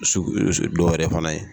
Dɔw yɛrɛ fana ye.